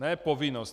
Ne povinnost.